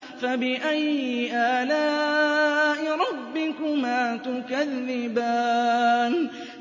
فَبِأَيِّ آلَاءِ رَبِّكُمَا تُكَذِّبَانِ